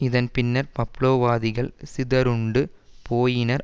இதன் பின்னர் பப்லோவாதிகள் சிதறுண்டு போயினர்